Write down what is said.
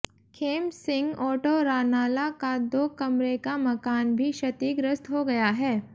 खेम सिंह ओटोरानाला का दो कमरे का मकान भी क्षतिग्रस्त हो गया है